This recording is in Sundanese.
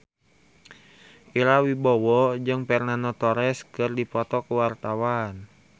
Ira Wibowo jeung Fernando Torres keur dipoto ku wartawan